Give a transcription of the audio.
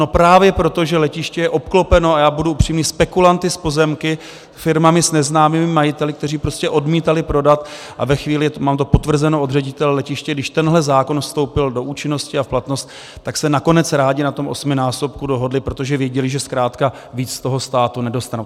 No právě proto, že letiště je obklopeno - a já budu upřímný - spekulanty s pozemky, firmami s neznámými majiteli, kteří prostě odmítali prodat, a ve chvíli, mám to potvrzeno od ředitele letiště, když tenhle zákon vstoupil do účinnosti a v platnost, tak se nakonec rádi na tom osminásobku dohodli, protože věděli, že zkrátka víc z toho státu nedostanou.